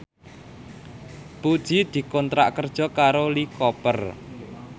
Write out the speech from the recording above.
Puji dikontrak kerja karo Lee Cooper